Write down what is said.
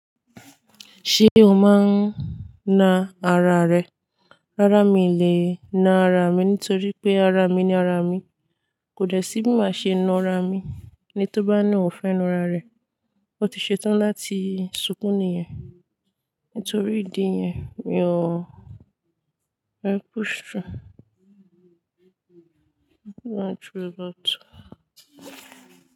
Ṣé o máa ń na ara rẹ? Rárá, mi ò lè na ara mi nítorí pé ara mi ni ara mi. Kò dẹ̀ sí bí màá ṣe na ara mi. Ẹni tó bá ní òun fẹ́ na ara rẹ, o ti ṣe tán láti sunkún níyẹn. Nítorí ìdí yẹn, mi ò, mò ń push through.